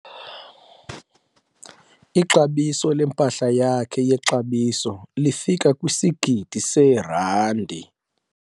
Ixabiso lempahla yakhe yexabiso lifika kwisigidi seerandi.